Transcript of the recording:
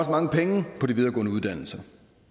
mange penge på de videregående uddannelser